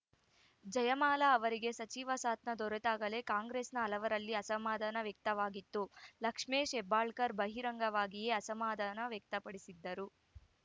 ಜಯಮಾಲಾ ಅವರಿಗೆ ಸಚಿವ ಸತನ ದೊರೆತಾಗಲೇ ಕಾಂಗ್ರೆಸ್‌ನ ಹಲವರಲ್ಲಿ ಅಸಮಾಧಾನ ವ್ಯಕ್ತವಾಗಿತ್ತು ಲಕ್ಷ್ಮೇ ಹೆಬ್ಬಾಳ್ಕರ್‌ ಬಹಿರಂಗವಾಗಿಯೇ ಅಸಮಾಧಾನ ವ್ಯಕ್ತಪಡಿಸಿದ್ದರು